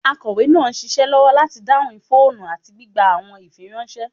Akọwe naa n ṣiṣẹ lọwọ lati dahun foonu ati gbigba awọn ifiranṣẹ